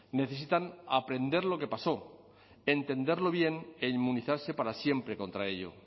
necesitan aprender lo que pasó entenderlo bien e inmunizarse para siempre contra ello